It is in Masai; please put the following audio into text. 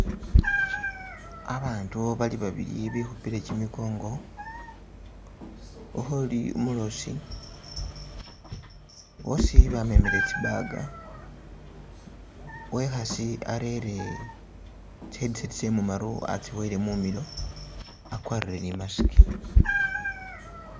Abantu bali babili bekhupile kimikongo ukhuli umuloosi boosi bamemele tsi bag, uwe'khaasi arere tsi headsets mumaru atsi boyele mumilo akwarire ne imasiki.